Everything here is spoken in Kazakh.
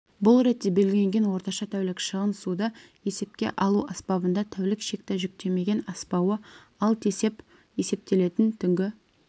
бұл ретте белгіленген орташа тәулік шығын суды есепке алу аспабында тәулік шекті жүктемеден аспауы ал тесеп есептелетін түнгі